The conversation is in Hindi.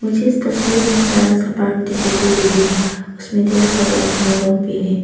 मुझे इस तस्वीर में एक बड़ा सा पार्क दिखाई दे रहे हैं उसमें ढेर सारे आदमी लोग भी है।